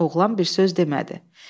Oğlan bir söz demədi.